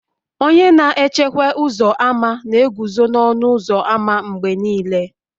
Onye na echekwa ụzọ ámá na-eguzo n'ọnụ ụzọ ámá mgbe niile